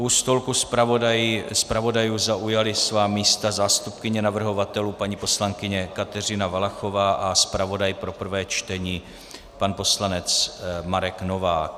U stolku zpravodajů zaujali svá místa zástupkyně navrhovatelů paní poslankyně Kateřina Valachová a zpravodaj pro prvé čtení pan poslanec Marek Novák.